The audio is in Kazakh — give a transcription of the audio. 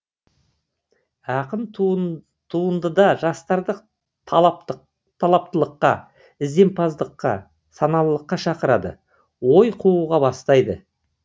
ақын туындыда жастарды талаптылыққа ізденімпаздыққа саналылыққа шақырады ой қууға бастайды